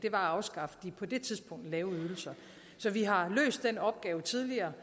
at afskaffe de på det tidspunkt lave ydelser så vi har tidligere